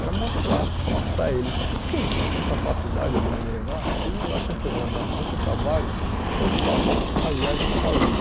Era mostrar para eles que se eles não têm capacidade de me levar, se eles acham que eu vou dar muito trabalho, eu faço a viagem sozinho.